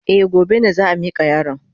Eh, gobe ne za a mika yaron.